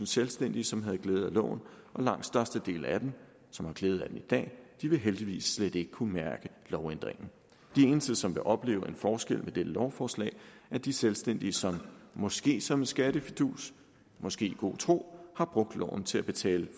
selvstændige som havde glæde af loven og langt størstedelen af dem som har glæde af den i dag vil heldigvis slet ikke kunne mærke lovændringen de eneste som vil opleve en forskel med dette lovforslag er de selvstændige som måske som en skattefidus måske i god tro har brugt loven til at betale